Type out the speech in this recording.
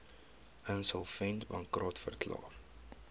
insolvent bankrot verklaar